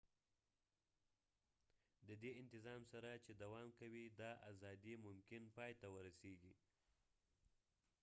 ددې انتظام سره چې دوام کوي دا ازادي ممکن پای ته ورسیږی